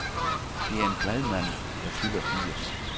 Det er en glad mand, der fylder firs.